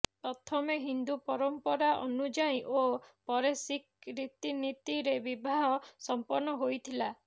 ପ୍ରଥମେ ହିନ୍ଦୁ ପରମ୍ପରା ଅନୁଯାୟୀ ଓ ପରେ ଶିଖ୍ ରୀତିନୀତିରେ ବିବାହ ସମ୍ପନ୍ନ ହୋଇଥିଲା